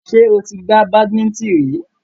Ṣé o ti gbá badimíńtìn rí?